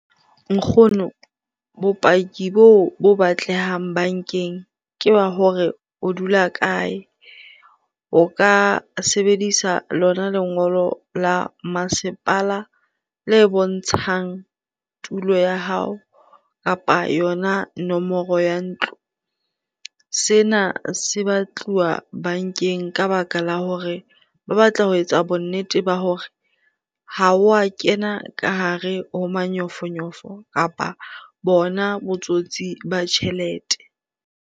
Nkgono, bopaki boo bo batlehang bankeng ke ba hore o dula kae? O ka sebedisa lona lengolo la masepala le bontshang tulo ya hao kapa yona nomoro ya ntlo. Sena se batluwa bankeng ka baka la hore ba batla ho etsa bonnete ba hore ha wa kena ka hare ho manyofonyofo kapa bona botsotsi ba tjhelete.